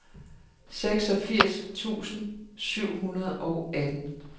seksogfirs tusind syv hundrede og atten